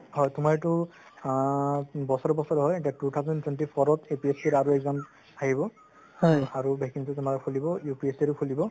হয় তুমাৰ এইটো আ বছৰে বছৰে হয় আ two thousand twenty four ত APSC ৰ আৰু exam আহিব আৰু vacancy তুমাৰ খুলিব UPSC ৰ খুলিব